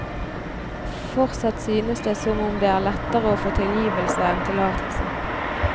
Fortsatt synes det som om det er lettere å få tilgivelse enn tillatelse.